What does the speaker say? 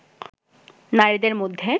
নারীদের মধ্যে